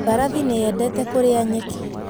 Mbarathi nĩ yendete kũrĩa nyeki.